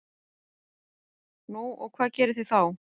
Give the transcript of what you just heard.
Nú, hvað gerið þið þá?